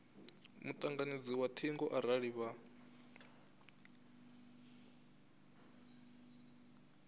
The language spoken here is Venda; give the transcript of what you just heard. mutanganedzi wa thingo arali vha